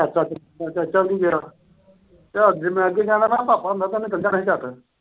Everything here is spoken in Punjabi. ਚਾਚਾ ਵੀ ਨੀ ਗਿਆ। ਤੇ ਜਾਣਾ ਜੇ ਭਾਪਾ ਹੁੰਦਾ ਤਾਂ ਉਹਨੇ ਚਲੇ ਜਾਣਾ ਸੀ ਝੱਟ।